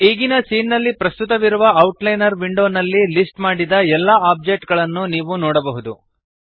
ಈಗಿನ ಸೀನ್ ನಲ್ಲಿ ಪ್ರಸ್ತುತವಿರುವ ಔಟ್ಲೈನರ್ ವಿಂಡೋನಲ್ಲಿ ಲಿಸ್ಟ್ ಮಾಡಿದ ಎಲ್ಲ ಆಬ್ಜೆಕ್ಟ್ ಗಳನ್ನು ನೀವು ನೋಡಬಹುದು